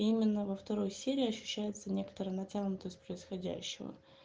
именно во второй серии ощущается некоторая натянутость происходящего